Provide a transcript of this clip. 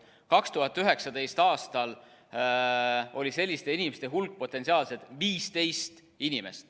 2019. aastal oli selliste inimeste hulk potentsiaalselt 15 inimest.